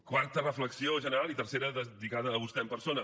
quarta reflexió general i tercera lligada a vostè en persona